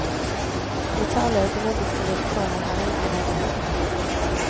Brutale økonomiske vilkår har herjet med regnskapene.